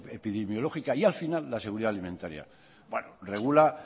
epidemiológica y al final la seguridad alimentaria regula